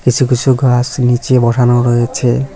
কিছু কিছু গাছ নীচে বসানো রয়েছে।